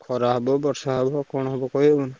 ଖରା ହବ ବର୍ଷା ହବ କଣ ହବ କହିହବା ନା।